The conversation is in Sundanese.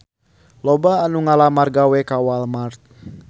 Loba anu ngalamar gawe ka Walmart